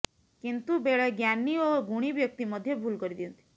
କିନ୍ତୁ ବେଳେ ଜ୍ଞାନୀ ଓ ଗୁଣୀ ବ୍ୟକ୍ତି ମଧ୍ୟ ଭୁଲ କରିଦିଅନ୍ତି